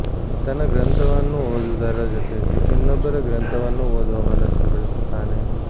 ತನ್ನ ಗ್ರಂಥವನ್ನು ಓದುವುದರ ಜೊತೆಗೆ ಇನ್ನೊಬ್ಬರ ಗ್ರಂಥವನ್ನು ಓದುವ ಮನಸ್ಸು ಬೆಳೆಸುತ್ತಾನೆ